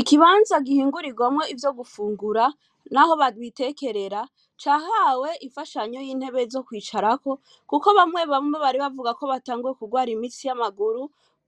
ikibanza gihingurigwamo ivyo gufungura naho babitekerera cahawe ifashanyo y'intebe zo kwicarako kuko bamwe bamwe baribavugako baribatanguye kugwara imitsi yamaguru